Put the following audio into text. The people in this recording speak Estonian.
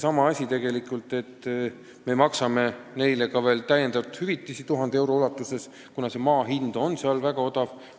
Me ju maksame neile ka veel täiendavalt hüvitist 1000 eurot, kuna maa hind on seal väga odav.